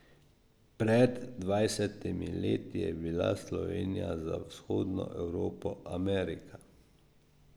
Pred dvajsetimi leti je bila Slovenija za Vzhodno Evropo Amerika.